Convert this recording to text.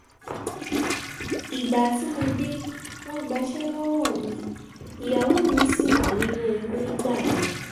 ìgbà tí mo dé wọ́n gbaṣẹ́ lọ́wọ́ mi ìyàwó mi ṣì wà nínú oyún nígbà yẹn